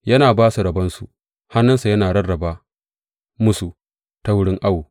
Ya ba su rabonsu; hannunsa ya rarraba musu ta wurin awo.